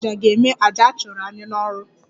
Dibia aja ga-eme aja a chụrụ anyị n'ọrụ